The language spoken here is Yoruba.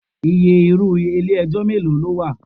Iye irú ilé ẹjọ́ mélòó ló wà?